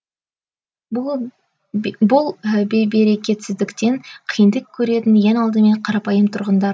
бұл бейберекетсіздіктен қиындық көретін ең алдымен қарапайым тұрғындар